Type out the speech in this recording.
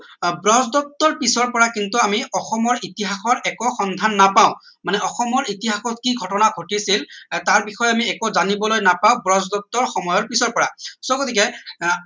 আহ ব্ৰজদত্ত পিছৰ পৰা কিন্তু আমি অসমৰ ইতিাসৰ একো সন্ধান নাপাওঁ মানে অসমৰ ইতিহাসৰ কি ঘটনা ঘটিছিল তাৰ বিষয়ে আমি একো জানিবলৈ নাপাওঁ ব্ৰজদত্ত সময়ৰ পিছৰ পৰা so গতিকে